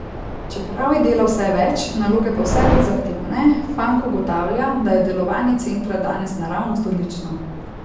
Čeprav je dela vse več, naloge pa vse bolj zahtevne, Fank ugotavlja, da je delovanje centra danes naravnost odlično.